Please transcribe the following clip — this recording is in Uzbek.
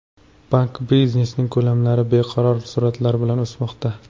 Bank biznesining ko‘lamlari barqaror sur’atlar bilan o‘smoqda.